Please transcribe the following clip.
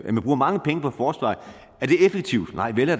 man bruger mange penge på forsvaret er effektivt nej vel